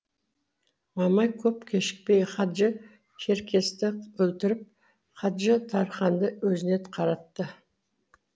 мамай көп кешікпей хаджы черкесті өлтіріп хаджы тарханды өзіне қаратты